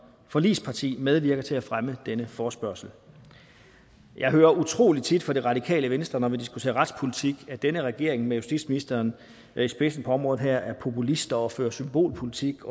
forligsparti medvirker til at fremme denne forespørgsel jeg hører utrolig tit fra det radikale venstre når vi diskuterer retspolitik at denne regering med justitsministeren i spidsen på området er populister og fører symbolpolitik